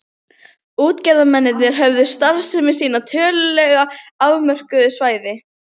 Það var hann sem sá um hamborgarhrygginn, rauðkálið og sósuna.